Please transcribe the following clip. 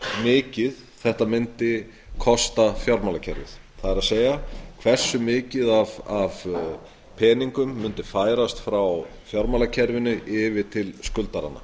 mikið þetta mundi kosta fjármálakerfið það er hversu mikið af peningum mundi færast frá fjármálakerfinu yfir til skuldaranna